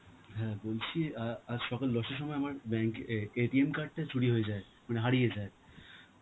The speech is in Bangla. হ্যাঁ বলছি, আ~ আজ সকাল দশটার সময় আমার bank এ~ card টা চুরি হয়ে যায়, মানে হারিয়ে যায়.